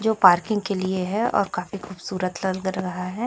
जो पार्किंग के लिए है और काफी खूबसूरत लग रहा है।